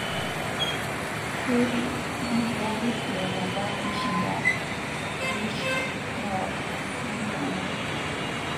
Fury netu eari aiteru apa peishinda Klitschko newal''maigurana''.